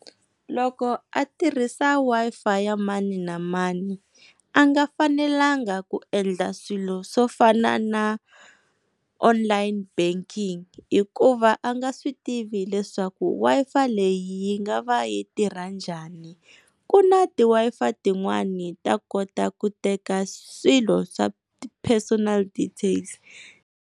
Loko a tirhisa Wi-Fi ya mani na mani a nga fanelanga ku endla swilo swo fana na online banking hikuva a nga swi tivi leswaku Wi-Fi leyi yi nga va yi tirha njhani ku na ti Wi-Fitin'wani ta kota ku teka swilo swa personal details.